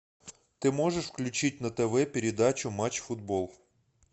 ты можешь включить на тв передачу матч футбол